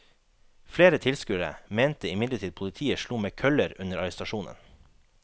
Flere tilskuere mente imidlertid politiet slo med køller under arrestasjonen.